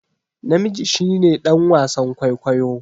Namiji shi ne dan wasan kwaikwayo